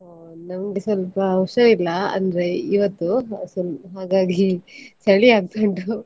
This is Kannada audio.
ಅಹ್ ನಂಗೆ ಸ್ವಲ್ಪ ಹುಷಾರಿಲ್ಲ, ಅಂದ್ರೆ ಇವತ್ತು ಹಾಗಾಗಿ ಚಳಿ ಆಗ್ತಾ ಉಂಟು.